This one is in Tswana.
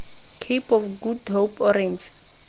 cape of good hope orange